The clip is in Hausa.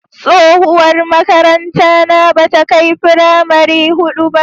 Tsohuwar makarantara bata kai firamari hudu ba.